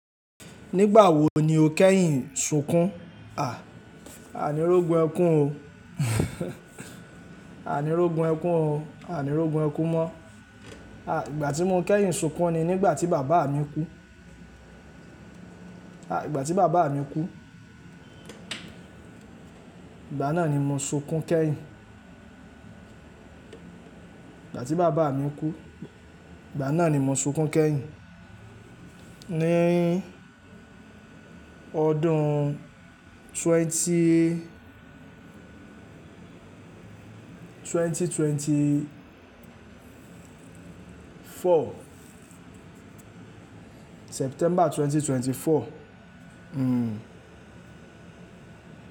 Nígbà wo ni o kẹ́yìn ṣunkún? À, a ní rógun ẹkún o. A ní rógun ẹkún o, a ní rógun ẹkún mọ́. À, ìgbà tí mo kẹ́yìn ṣunkún ni nígbà tí bàbá mi kú. À, ìgbà tí bàbá mi kú, ìgbà náà ni mo ṣunkún kẹ́yìn. Ìgbà tí bàbá mi kú, ìgbà náà ni mo ṣunkún kẹ́yìn. Ni ọdún twenty twenty twenty four. September twenty twenty four. Hmm.